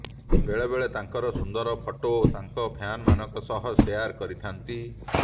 ବେଳେବେଳେ ତାଙ୍କର ସୁନ୍ଦର ଫଟୋ ତାଙ୍କ ଫ୍ୟାନଙ୍କ ସହ ସେୟାର କରିଥାଆନ୍ତି